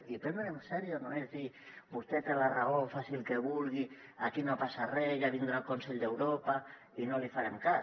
i prendre’nsel en sèrio no és dir vostè té la raó faci el que vulgui aquí no passa re ja vindrà el consell d’europa i no li farem cas